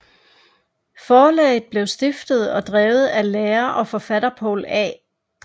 Forlaget blev stiftet og drevet af lærer og forfatter Poul A